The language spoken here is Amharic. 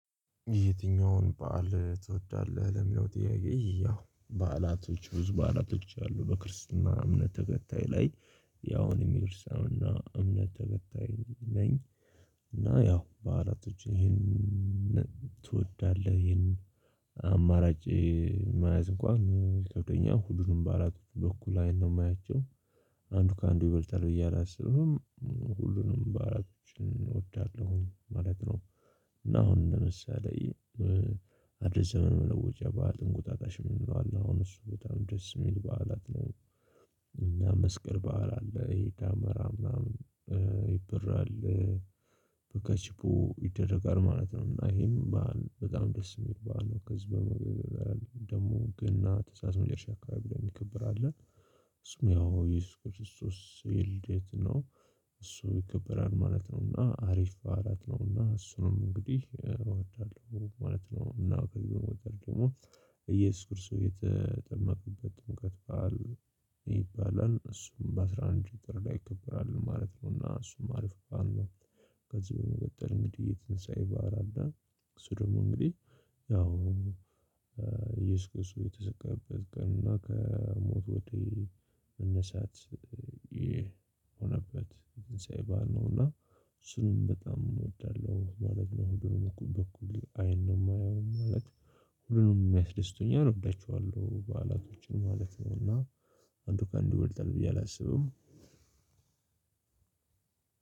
የትኛውን በዓል ትወዳለህ? ለሚለው ጥያቄ ያው በዓላቶች ብዙ በዓላቶች አሉ በክርስትና እምነት ተከታይ ላይ ያው እኔም የክርስትና እምነት ተከታይ ነኝ። እና ያው በዓላቶች ይሄን ትወዳለህ ይሄን አማራጭ ማየት እንኳን ይከብደኛል ሁሉንም በአላቅም በኩል አይን ነው ማያቸው። አንዱ ከአንዱ ይበልጣል ብየ አላስብም። ሁሉንም በዓላቶች እወዳለሁኝ ማለት ነው። እና አሁን ለምሳሌ አዲስ ዘመን ለውጭ በዓል እንቁጣጣሽ የምንለው አለ አሁን እሱ በጣም ደስ የሚል በዓላት ነው። እና መስቀል በዓል አለ እሆ ደመራ ምናምን ይበራል። በከችቦ ይደረጋል ማለት ነው። እና ይሆንን በዓል በጣም ደስ የሚባል ነው። ከዚህ በመቀጠል ደግሞ ግን ተእሳስ መጨረሻ አካባቢ የሚከብር አለ። እሱም ያው የእየሱስ ክርስቶስ የልደት ነው። እሱ ይከበራል ማለት ነው። እና አሪፍ በዓላት ነው እና እሱንም እንግዲህ እወዳለሁ ማለት ነው። እና ከዚህ በመቀጠል ደግሞ እየሱስ ክርስቶስ የተጠመቅበት ጥምቀት በዓል ይባላል እሱም በአስራ አንድ ጥር ላይ ይከበራል ማለት ነው። እና እሱም አሪፍ በዓል ነው። ከዚህ በመቀጠል እንግዲህ የትንሳኤ ባእል አለ። እሱ ደግሞ እንግዲህ ያው እየሱስ ክርስቶስ የተሰቀለበትን ቀን እና ከሞት ወደ መነሳት ይህ የሆነበት ትንሣኤ በዓል ነው። እና እሱንም በጣም እወዳለሁ ማለት ነው። በኔ በኩል አይን ነው ማየው ማለት ሁሉንም ሚያስደስቱኝ አሁን እወዳቸዋለለሁኝ በዓላቶችን ማለት ነው። እና አንዱ ከአንድ ይበልጣል ብዬ አላስብም።